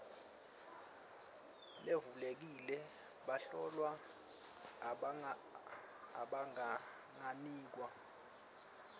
levulekile bahlolwa abanganikwa